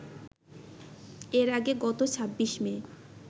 এর আগে গত ২৬ মে